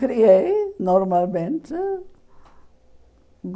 Criei normalmente.